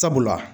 Sabula